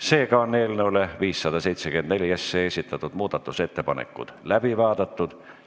Seega on eelnõu 574 muudatusettepanekud läbi vaadatud.